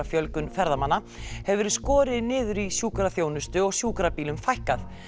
fjölgun ferðamanna hefur verið skorið niður í sjúkraþjónustu og sjúkrabílum fækkað